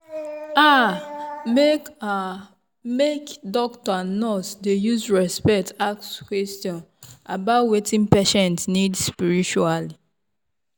ah make ah make doctor and nurse dey use respect ask question about wetin patient need spiritually.